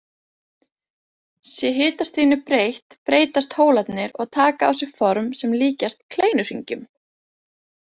Sé hitastiginu breytt breytast hólarnir og taka á sig form sem líkjast kleinuhringjum.